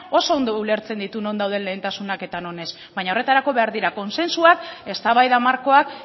oso ondo ulertzen ditu non dauden lehentasunak eta non ez baina horretarako behar dira kontsentsuak eztabaida markoak